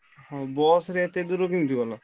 ହଁ ବସରେ ଏତେ ଦୂର କେମିତି ଗଲ?